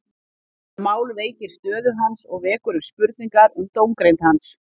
Þetta mál veikir stöðu hans og vekur upp spurningar um dómgreind hans.